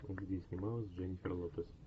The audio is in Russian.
где снималась дженнифер лопес